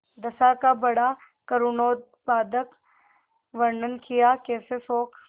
दशा का बड़ा करूणोत्पादक वर्णन कियाकैसे शोक